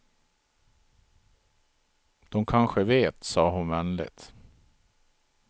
Dom kanske vet, sa hon vänligt.